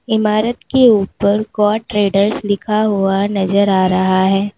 इमारत के ऊपर गौर ट्रेडर्स लिखा हुआ नजर आ रहा है।